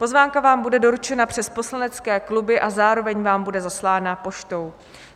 Pozvánka vám bude doručena přes poslanecké kluby a zároveň vám bude zaslána poštou.